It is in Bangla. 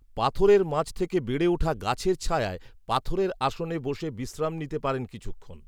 পাথরের মাঝথেকে বেড়ে উঠা গাছের ছায়ায় পাথরের আসনে বসে বিশ্রাম নিতে পারেন কিছুক্ষণ